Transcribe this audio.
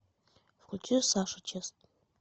включи саша чест